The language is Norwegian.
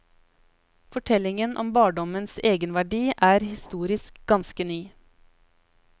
Forestillingen om barndommens egenverdi er historisk ganske ny.